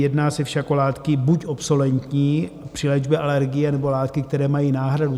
Jedná se však o látky buď obsoletní při léčbě alergie, nebo látky, které mají náhradu.